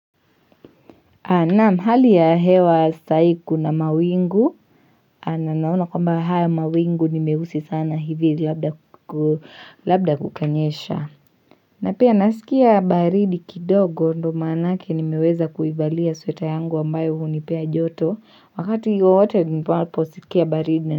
Naam hali ya hewa sai kuna mawingu na naona kwamba haya mawingu nimehusi sana hivi labda kukanyesha na pia nasikia baridi kidogo ndo manake nimeweza kuivalia sweta yangu wambayo huunipea joto wakati wowote nipo posikia baridi na.